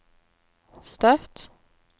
Støtt